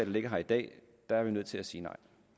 ligger her i dag er vi nødt til at sige